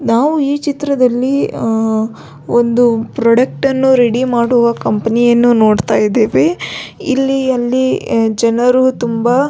ನಾವು ಈ ಚಿತ್ರದಲ್ಲಿ ಅಹ್ ಒಂದು ಪ್ರಾಡಕ್ಟ್ ಅನ್ನು ರೆಡಿ ಮಾಡುವ ಕಂಪನಿಯನ್ನು ನೋಡತ್ತಾ ಇದ್ದಿವಿ ಇಲ್ಲಿ ಅಲ್ಲಿ ಜನರು ತುಂಬಾ --